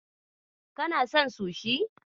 Kana son sushi?